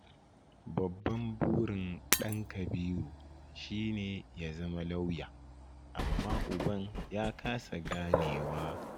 Babban burin ɗan Kabiru shi ne ya zama lauya, amma uban ya kasa ganewa.